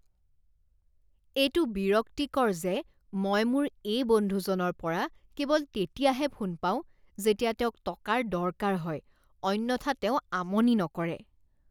এইটো বিৰক্তিকৰ যে মই মোৰ এই বন্ধুজনৰ পৰা কেৱল তেতিয়াহে ফোন পাওঁ যেতিয়া তেওঁক টকাৰ দৰকাৰ হয় অন্যথা তেওঁ আমনি নকৰে।